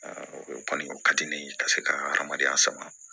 o kɔni o ka di ne ye ka se ka adamadenya sama